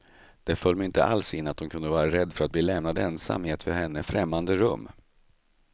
Det föll mig inte alls in att hon kunde vara rädd för att bli lämnad ensam i ett för henne främmande rum.